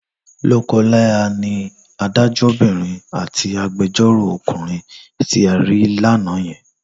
Lọ́kọláya ni adájọ́bìnrin àti agbẹjọ́ròkùnrin tí a rí lánàá yẹn.